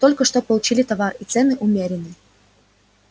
только что получили товар и цены умеренны